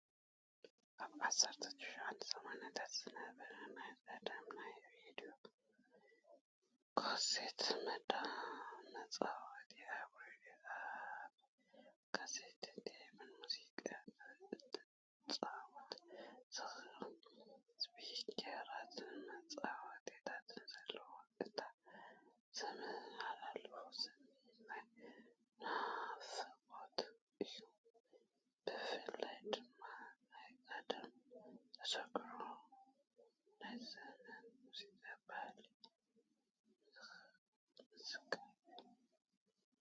ኣብ 1980ታት ዝነበረ ናይ ቀደም ናይ ሬድዮ ካሴት መጻወቲ ኣብ ሬድዮ ኣብ ካሴት ቴፕን ሙዚቃ ክትጻወት ዘኽእሉ ስፒከራትን መቆጻጸሪታትን ኣለዎ። እቲ ዘመሓላልፎ ስምዒት ናይ ናፍቖት እዩ፣ ብፍላይ ድማ ናይ ቀደም ተዘክሮታትን ናይቲ ዘመን ሙዚቃዊ ባህልን ምዝካር እዩ።